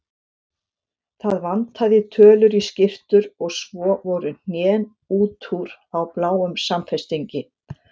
Það vantaði tölur í skyrtur og svo voru hnén út úr á bláum samfestingi.